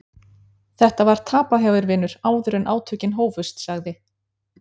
Þetta var tapað hjá þér vinur áður en átökin hófust, sagði